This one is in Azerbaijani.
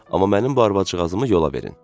Amma mənim bu arvad-ciğazımı yola verin.